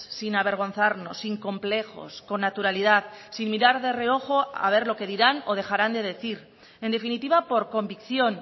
sin avergonzarnos sin complejos con naturalidad sin mirar de reojo a ver lo que dirán o dejarán de decir en definitiva por convicción